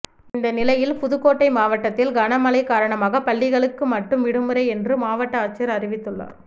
இந்த நிலையில் புதுக்கோட்டை மாவட்டத்தில் கனமழை காரணமாக பள்ளிகளுக்கு மட்டும் விடுமுறை என்று மாவட்ட ஆட்சியர் அறிவித்துள்ளார்